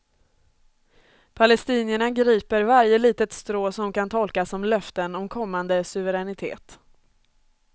Palestinierna griper varje litet strå som kan tolkas som löften om kommande suveränitet.